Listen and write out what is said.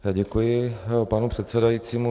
Děkuji panu předsedajícímu.